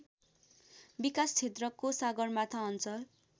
विकासक्षेत्रको सगरमाथा अञ्चल